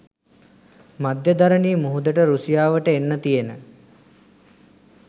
මධ්‍යදරනී මුහුදට රුසියාවට එන්න තියෙන